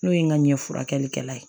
N'o ye n ka ɲɛfurakɛlikɛla ye